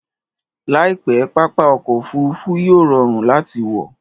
Laipe, pápá ọkọ̀ Òfurufú yíò rọrùn láti wọ